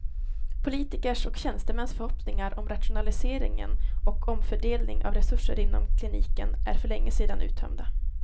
Politikers och tjänstemäns förhoppningar om rationalisering och omfördelning av resurser inom kliniken är för länge sedan uttömda.